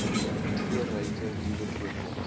kleurryke nuwe voorkoms